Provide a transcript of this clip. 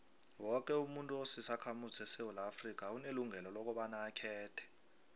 woke umuntu osisakhamuzi sesewula afrika unelungelo lokobaba akhethe